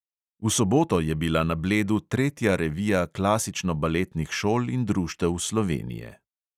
V soboto je bila na bledu tretja revija klasičnobaletnih šol in društev slovenije.